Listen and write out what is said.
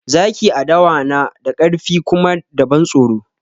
Zaki a dawa na da ƙarfi kuma da ban tsoro